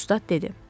Ustad dedi.